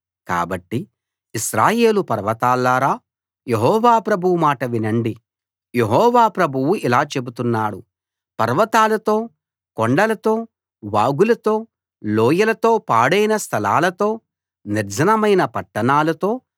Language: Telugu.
కాబట్టి ఇశ్రాయేలు పర్వతాల్లారా యెహోవా ప్రభువు మాట వినండి యెహోవా ప్రభువు ఇలా చెబుతున్నాడు పర్వతాలతో కొండలతో వాగులతో లోయలతో పాడైన స్థలాలతో నిర్జనమైన పట్టణాలతో